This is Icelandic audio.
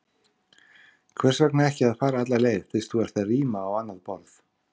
Hvers vegna ekki að fara alla leið, fyrst þú ert að ríma á annað borð?